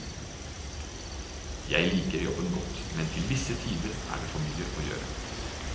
Jeg liker jobben godt, men til visse tider er det for mye å gjøre.